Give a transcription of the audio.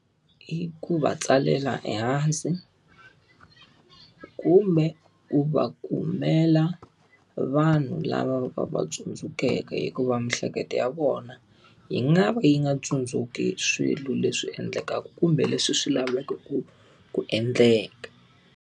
I ku va tsalela ehansi, kumbe ku va kumela vanhu lava va va tsundzukeke hikuva miehleketo ya vona, yi nga va yi nga tsundzuki swilo leswi endlekaka kumbe leswi swi lavekaka ku endleka.